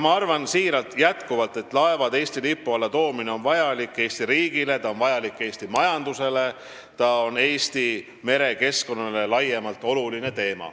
Ma arvan jätkuvalt siiralt, et laevade Eesti lipu alla toomine on vajalik Eesti riigile, see on vajalik Eesti majandusele ja see on oluline Eesti merekeskkonnale laiemalt.